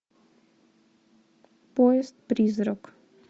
поезд призрак